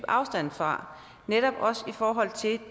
afstand fra netop også i forhold til